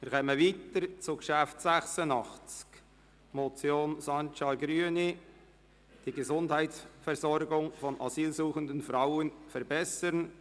Wir kommen zum Traktandum 86, einer Motion Sancar, Grüne: «Die Gesundheitsversorgung von asylsuchenden Frauen verbessern».